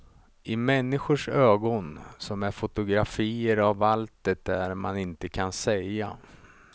I människors ögon som är fotografier av allt det där man inte kan säga.